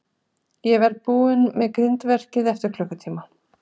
Ég verð búinn með grindverkið eftir klukkutíma.